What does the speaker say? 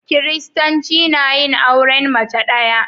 Kiristanci na yin auren mace ɗaya.